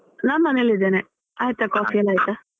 ನಾನ್ ಮನೆಲ್ಲಿ ಇದ್ದೇನೆ ಆಯ್ತಾ coffee ಎಲ್ಲ ಆಯ್ತಾ?